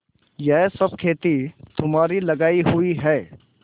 यह सब खेती तुम्हारी लगायी हुई है